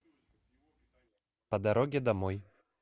по дороге домой